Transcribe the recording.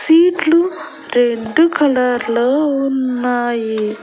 సీట్లు red colour లో ఉన్నాయి.